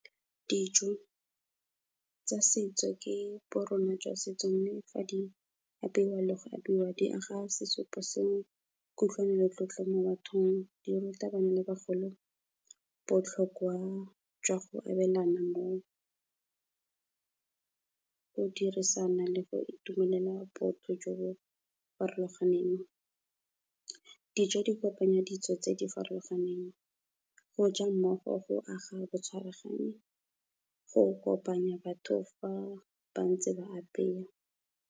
Dijo tsa setso ke borona jwa setso. Mme fa di apeiwa le go abiwa, di aga sesupo sa kutlwano le tlotlo mo mothong, di ruta bana le bagolo botlhokwa jwa go abelana go dirisana le go itumelela botho jo bo farologaneng. Dijo di kopanya ditso tse di farologaneng, go ja mmogo go aga bo tshwaragani, go kopanya batho fa ba ntse ba apeya.